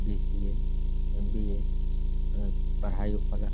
BCA. MBA. MA पढाई होखला।